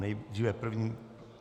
Nejdříve první.